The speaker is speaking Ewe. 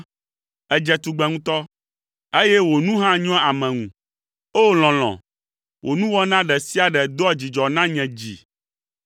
Èdze tugbe ŋutɔ, eye wò nu hã nyoa ame ŋu. O lɔlɔ̃, wò nuwɔna ɖe sia ɖe doa dzidzɔ na nye dzi!